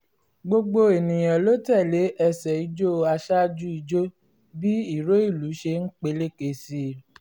gbogbo ènìyàn ló tẹ́lẹ̀ ẹsẹ̀ ijó aṣáájú ìjó bí ìró ìlú ṣe ń peléke sí i